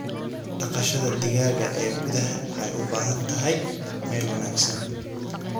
Dhaqashada digaaga ee gudaha waxay u baahan tahay meel wanaagsan.